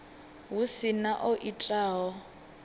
hu si na o itaho